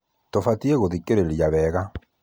tubataire guthikĩrĩria wega